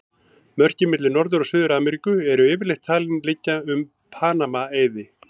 Mörkin milli Norður- og Suður-Ameríku eru yfirleitt talin liggja um Panama-eiði.